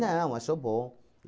achou bom.